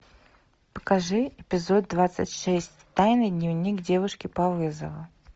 покажи эпизод двадцать шесть тайный дневник девушки по вызову